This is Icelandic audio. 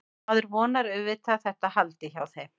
Maður vonar auðvitað að þetta haldi hjá þeim.